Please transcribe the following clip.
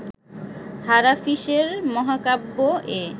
হারাফিশের মহাকাব্য এ